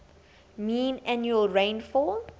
mean annual rainfall